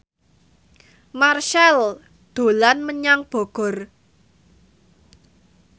Marchell dolan menyang Bogor